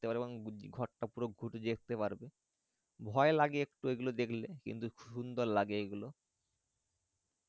এবং ঘরটা পুরো ঘুরে দেখতে পারবে ভয় লাগে একটু এগুলো দেখলে কিন্তু সুন্দর লাগে এগুলো